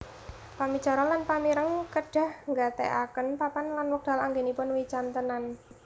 Pamicara lan pamireng kedah nggatèkaken papan lan wekdal anggenipun wicantenan